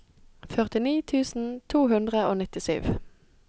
førtini tusen to hundre og nittisju